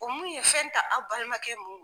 O mun ye fɛn ta aw balimakɛ mun